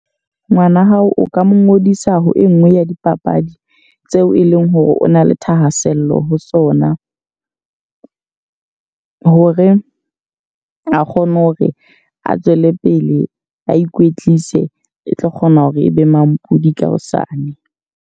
Ngwana hao o ka mo ngodisa ho e nngwe ya dipapadi tseo e leng hore o na le thahasello ho sona. Hore a kgone hore a tswele pele a ikwetlise, e tlo kgona hore e be mampodi ka hosane.